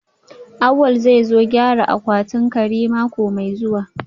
Awal zai zo gyara akwatin kari mako mai zuwa